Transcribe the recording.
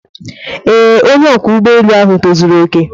Ee, onye ọkwọ ụgbọ elu ahu tozuru oke.